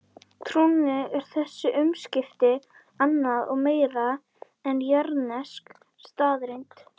Trúnni eru þessi umskipti annað og meira en jarðnesk staðreynd.